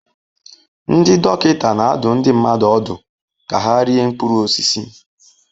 Ndị dọkịta na-adụ ndị mmadụ ọdụ ka ha rie mkpụrụ osisi.